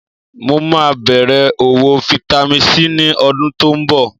Mo máa bẹ̀rẹ̀ òwò Vitamin C ní ọdún tó ń bọ̀